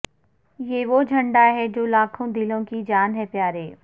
یہ وہ جھنڈا ہے جو لاکھوں دلوں کی جان ہے پیارے